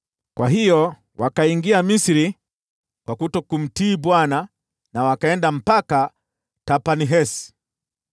Kwa hiyo wakaingia Misri kwa kutokumtii Bwana , wakaenda mpaka Tahpanhesi.